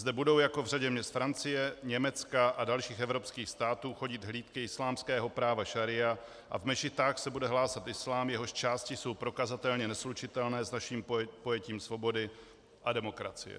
Zde budou, jako v řadě měst Francie, Německa a dalších evropských států, chodit hlídky islámského práva šaría a v mešitách se bude hlásat islám, jehož části jsou prokazatelně neslučitelné s naším pojetím svobody a demokracie.